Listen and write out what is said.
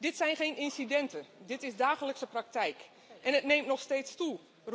Dit zijn geen incidenten. Dit is de dagelijkse praktijk. En het neemt nog steeds toe.